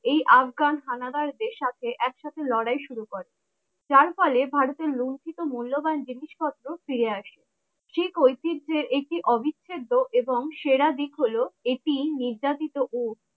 এই আফগান হানাদারদের সাথে একসাথে লড়াই শুরু করে যার ফলে ভারতে লুন্ঠিত মূল্যবান জিনিসপত্র ফিরে আসে সেই শিখদের একটি অবিচ্ছেদ এবং সেরা দিক হলো এটি নির্যাতিত ও